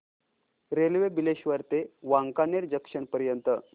railway Bileshwar ते Wankaner junction पर्यंत